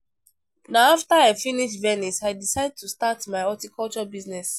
Na after I visit Venice I decide to start my horticulture business